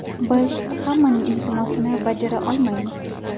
Biz hammaning iltimosini bajara olmaymiz.